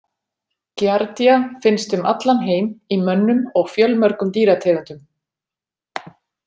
Giardia finnst um allan heim í mönnum og fjölmörgum dýrategundum.